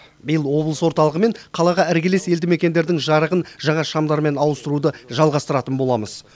биыл облыс орталығы мен қалаға іргелес елді мекендердің жарығын жаңа шамдармен ауыстаруды жалғастыратын боламыз